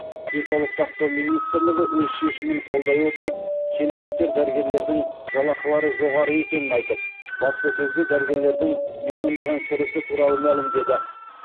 денсаулық сақтау министрлігі өз шешімін қолдай отырып шенеуніктер дәрігерлердің жалақылары жоғары екенін айтып баспасөзде дәрігерлердің миллиондаған кірісі туралы мәлімдеді